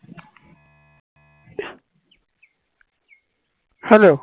hello